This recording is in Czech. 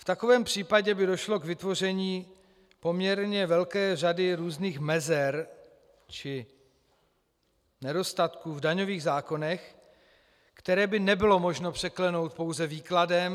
V takovém případě by došlo k vytvoření poměrně velké řady různých mezer či nedostatků v daňových zákonech, které by nebylo možno překlenout pouze výkladem.